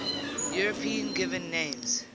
european given names